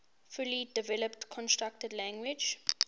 fully developed constructed language